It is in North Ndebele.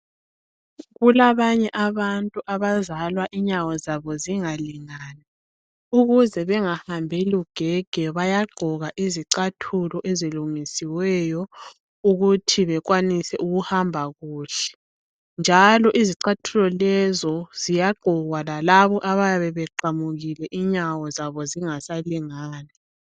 Kulabanye abantu abazalwa inyawo zabo zingalingani ukuze bengahambi lugege bayagqoka izicathulo ezilungisiweyo ukuthi bekwanise ukuhamba kuhle njalo izicathulo lezo ziyagqokwa lalabo abayabe beqamukile inyawo zabo zingasalingani.